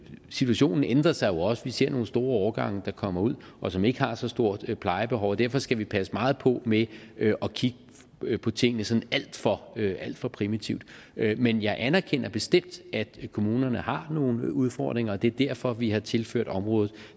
situationen ændrer sig jo også vi ser nogle store årgange der kommer ud og som ikke har så stort et plejebehov derfor skal vi passe meget på med at kigge på tingene sådan alt for for primitivt men jeg anerkender bestemt at kommunerne har nogle udfordringer og det er derfor vi har tilført området